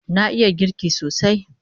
Na iya girki sosai